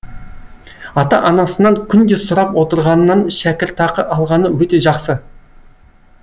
ата анасынан күнде сұрап отырғаннан шәкіртақы алғаны өте жақсы